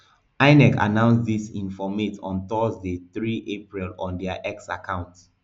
inec announce dis informate on thursday three april on dia x account